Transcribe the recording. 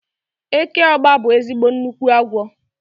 Eke ọ́gba bụ ezigbo nnukwu agwọ